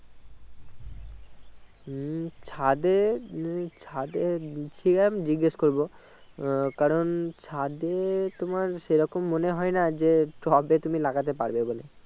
উম ছাদে উহ ছাদে ঠিক আছে আমি জিজ্ঞেশ করবো আহ কারণ ছাদে তোমার সেই রকম মনে হয়না যে টবে তুমি লাগাতে পারবে বলে